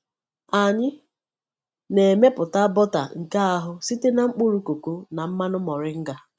Anyị na-emepụta bọta nke ahụ site na mkpụrụ koko na mmanụ moringa.